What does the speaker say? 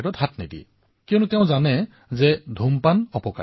চিগাৰেটৰ ফলত হোৱা ক্ষতি সম্পৰ্তে কাৰো দ্বিমত নাই